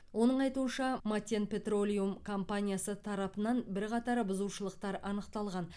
оның айтуынша матен петролиум компаниясы тарапынан бірқатар бұзушылықтар анықталған